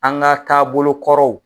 An ka taabolokɔrɔw.